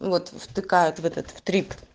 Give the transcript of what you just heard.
вот втыкают в этот в трип